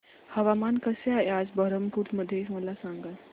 हवामान कसे आहे आज बरहमपुर मध्ये मला सांगा